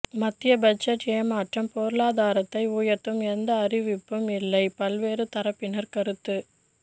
மத்திய பட்ஜெட் ஏமாற்றம் பொருளாதாரத்தை உயர்த்தும் எந்த அறிவிப்பும் இல்லை பல்வேறு தரப்பினர் கருத்து